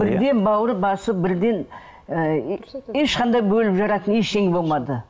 бірден бауыр басып бірден ы ешқандай бөліп жаратын ештеңе болмады